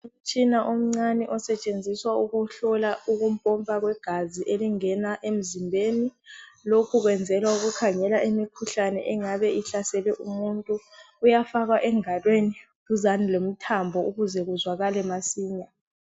Umtshina omncane osetshenziswa ukuhlola ukupompa kwegazi elingena emzimbeni lokhu kwenzelwa ukukhangela imikhuhlane engabe ihlasele umuntu uyafakwa engalweni duzane lomthambo ukuze kuzwakale masinya